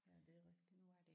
Ja det er rigtigt